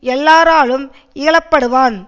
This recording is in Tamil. எல்லாராலும் இகழ படுவான்